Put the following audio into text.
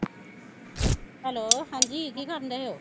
hello ਹਾਂਜੀ ਕੀ ਕਰਣ ਡਏ ਓ